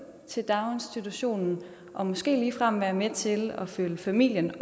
til daginstitutionen og måske ligefrem være med til at følge familien i